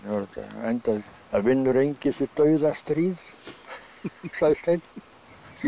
endaði það vinnur enginn sitt dauðastríð sagði Steinn